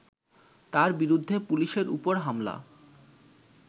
তার বিরুদ্ধে পুলিশের ওপর হামলা